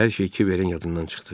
Hər şey kiverin yadından çıxdı.